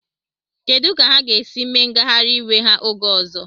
Kedu ka ha ga-esi mee ngagharị iwe ha oge ọzọ?